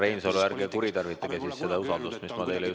Härra Reinsalu, ärge kuritarvitage seda usaldust, mis ma teile andsin.